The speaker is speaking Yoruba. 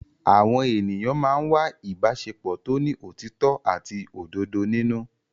Àwọn ènìyàn máa ń wá ìbáṣepọ̀ tó ní òtítọ́ àti òdodo nínú.